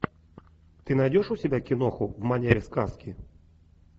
ты найдешь у себя киноху в манере сказки